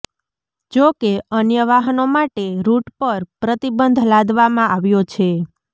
જોકે અન્ય વાહનો માટે રુટ પર પ્રતિબંધ લાદવામાં આવ્યો છે